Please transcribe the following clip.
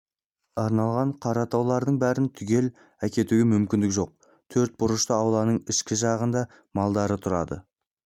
арналған қара тауарлардың бәрін түгел әкетуге мүмкіндігі жоқ төрт бұрышты ауланың ішкі жағында малдары тұрады